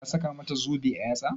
Ka saka mata zobe a yatsa?